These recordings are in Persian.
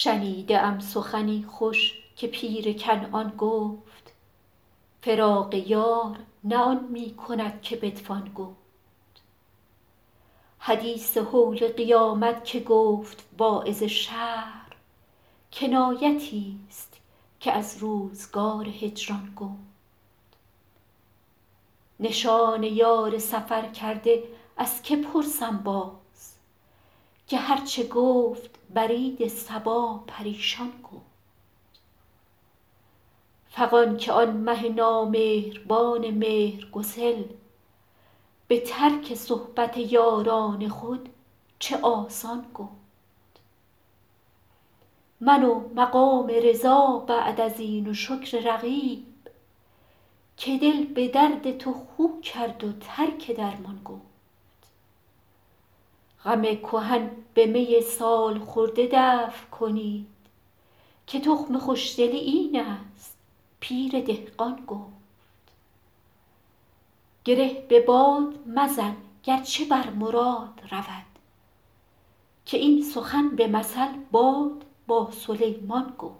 شنیده ام سخنی خوش که پیر کنعان گفت فراق یار نه آن می کند که بتوان گفت حدیث هول قیامت که گفت واعظ شهر کنایتی ست که از روزگار هجران گفت نشان یار سفرکرده از که پرسم باز که هر چه گفت برید صبا پریشان گفت فغان که آن مه نامهربان مهرگسل به ترک صحبت یاران خود چه آسان گفت من و مقام رضا بعد از این و شکر رقیب که دل به درد تو خو کرد و ترک درمان گفت غم کهن به می سال خورده دفع کنید که تخم خوش دلی این است پیر دهقان گفت گره به باد مزن گر چه بر مراد رود که این سخن به مثل باد با سلیمان گفت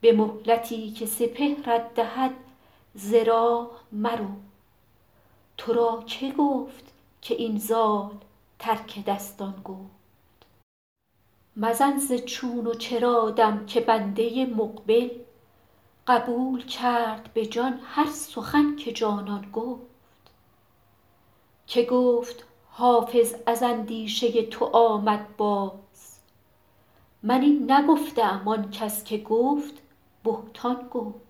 به مهلتی که سپهرت دهد ز راه مرو تو را که گفت که این زال ترک دستان گفت مزن ز چون و چرا دم که بنده مقبل قبول کرد به جان هر سخن که جانان گفت که گفت حافظ از اندیشه تو آمد باز من این نگفته ام آن کس که گفت بهتان گفت